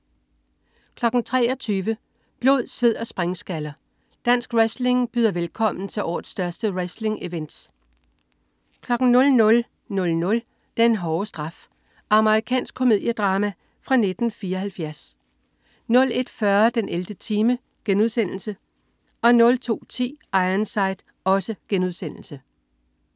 23.00 Blod, sved & springskaller, Dansk Wrestling byder velkommen til årets største wrestlingevent 00.00 Den hårde straf. Amerikansk komediedrama fra 1974 01.40 den 11. time* 02.10 Ironside*